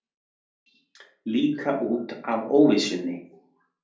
Líka út af óvissunni.